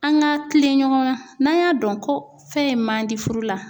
An ka kilen ɲɔgɔn na, n'an y'a dɔn ko fɛn in man di furu la.